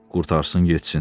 Qurtarsın getsin.